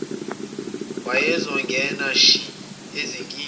wayezongena shi ezinkingeni